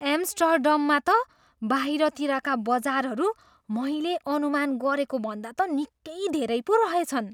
एम्स्टर्डममा त बाहिरतिरका बजारहरू मैले अनुमान गरेको भन्दा त निकै धेरै पो रहेछन्।